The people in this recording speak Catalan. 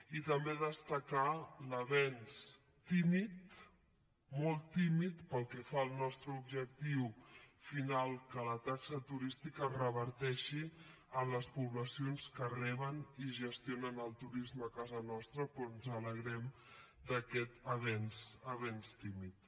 i també destacar l’avenç tímid molt tímid pel que fa al nostre objectiu final que la taxa turística reverteixi en les poblacions que reben i gestionen el turisme a casa nostra però ens alegrem d’aquest avenç avenç tímid